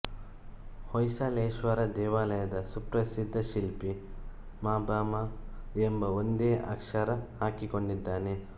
ಹೊಯ್ಸಳೇಶ್ವರ ದೇವಾಲಯದ ಸುಪ್ರಸಿದ್ಧ ಶಿಲ್ಪಿ ಮಾಬ ಮಾ ಎಂಬ ಒಂದೇ ಅಕ್ಷರ ಹಾಕಿಕೊಂಡಿದ್ದಾನೆ